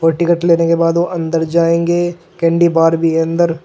और टिकट लेने के बाद वो अंदर जाएंगे कैंडी बार भी है अंदर।